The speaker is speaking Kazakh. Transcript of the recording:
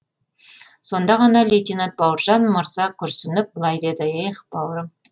сонда аға лейтенант бауыржан мырза күрсініп былай деді эх бауырым